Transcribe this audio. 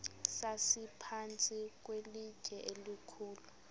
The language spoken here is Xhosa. sasiphantsi kwelitye elikhulu